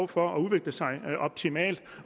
for at udvikle sig optimalt